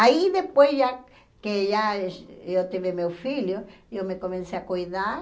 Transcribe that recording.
Aí depois já que já eu tive meu filho, eu me comecei a cuidar.